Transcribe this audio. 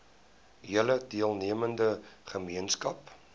hele deelnemende gemeenskap